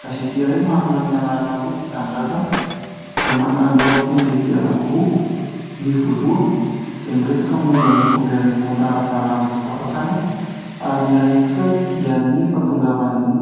Gazety iray manana ny anarana hoe Tia Tanindrazana izay manana lohateny lehibe anankiroa : ny voalohany izay miresaka momba ny governemanta ara-dalàna tsy tafantsangana ary ny iray kosa dia ny fahatongavan'ny